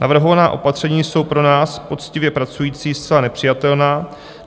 Navrhovaná opatření jsou pro nás, poctivě pracující, zcela nepřijatelná.